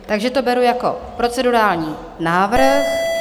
Takže to beru jako procedurální návrh.